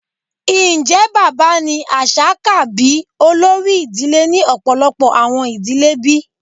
Njẹ baba ni aṣa ka bi olori idile ni ọpọlọpọ awọn idile bi?